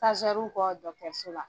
kɔ la.